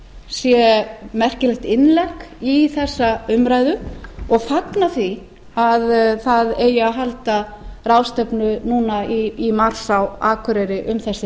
sé merkilegt innlegg í þessa umræðu og fagna því að það eigi að halda ráðstefnu núna í mars á akureyri um þessi